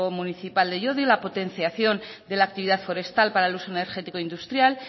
municipal de llodio la potenciación de la actividad forestal para el uso energético industrial